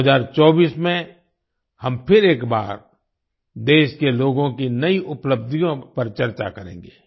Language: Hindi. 2024 में हम फिर एक बार देश के लोगों की नई उपलब्धियों पर चर्चा करेंगे